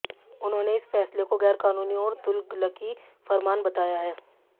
उन्होंने इस फैसले को गैरकानूनी और तुगलकी फरमान बताया है